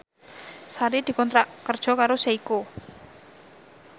Sari dikontrak kerja karo Seiko